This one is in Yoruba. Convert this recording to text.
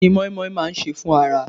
Kí ni moin moin máa ń ṣe fún ara?